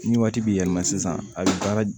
Ni waati bi yɛlɛma sisan a be baara